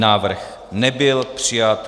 Návrh nebyl přijat.